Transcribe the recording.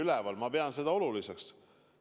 Minagi pean seda oluliseks.